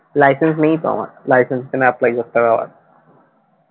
license নেই তো আমার license জন্য apply করতে হবে আবার